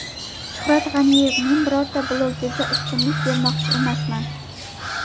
Shuhrat G‘aniyev: Men birorta blogerga ustunlik bermoqchi emasman.